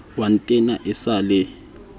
wa ntena e sa le